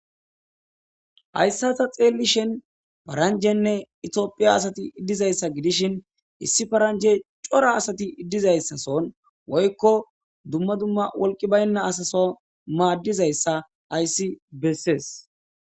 Haysa ta xelishin paranjanne etophiya asati dizaysa gidishin issi paranjayi cora asati dizayasason woyko dumma dumma wolqi bayna asaso madizaysa haysi besese